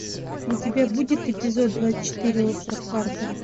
у тебя будет эпизод двадцать четыре остров харпера